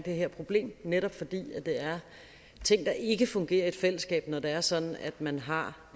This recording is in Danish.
her problem netop fordi det er ting der ikke fungerer i et fællesskab når det er sådan at man har